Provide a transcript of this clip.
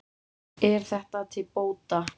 Er þetta til bóta.